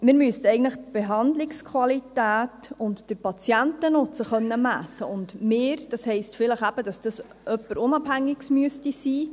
Wir müssten die Behandlungsqualität und den Patientennutzen messen können, und es müsste vielleicht jemand Unabhängiges sein.